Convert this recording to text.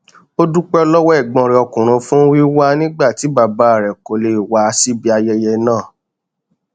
ó dúpẹ lọwọ ẹgbọn rẹ ọkùnrin fún wíwá nígbà tí bàbá rẹ kò lè wá síbi ayẹyẹ náà